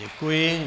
Děkuji.